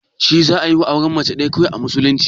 Shi za'a iya auren Mace ɗaya kawai, a musulunci?